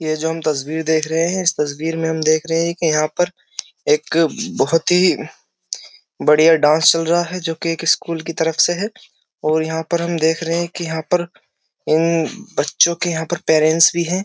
और ये जो हम तस्वीर देख रहे हैं इस तस्वीर में हम देख रहे हैं कि यहाँ पर एक बहुत ही बढ़िया डान्स चल रहा है जोकि एक स्कूल की तरफ से है और यहाँ पर हम देख रहे हैं कि यहाँ पर इन बच्चों के यहाँ पेरेंट्स भी हैं।